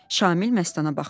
Şamil Məstana baxdı.